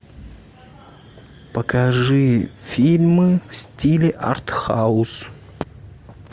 покажи фильмы в стиле артхаус